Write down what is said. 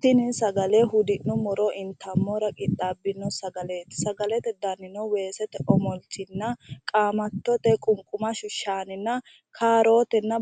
Tini sagale hudi'nummoro intammora qixxaabbino, sagaleeti sagalete danini weesete omolchinna qaamattote qunqumashshu shaaninna